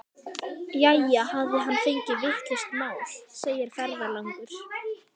Jæja, hafði hann fengið vitlaust mál, segir ferðalangur.